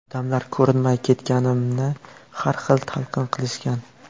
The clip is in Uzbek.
Odamlar ko‘rinmay ketganimni har xil talqin qilishgan.